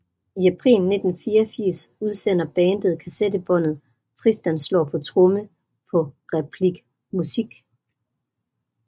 I april 1984 udsender bandet kassettebåndet Tristan Slår på Tromme på Replik Muzick